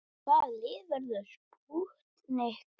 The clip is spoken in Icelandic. Hvaða lið verður spútnik liðið?